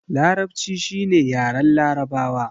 Larabci shi ne yaren larabawa